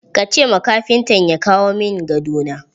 Ka ce ma kafintan ya kawo min gado na!